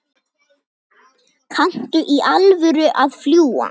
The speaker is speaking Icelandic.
Kanntu í alvöru að fljúga?